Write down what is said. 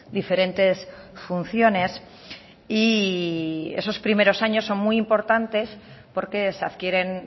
diferentes funciones y esos primeros años son muy importantes porque se adquieren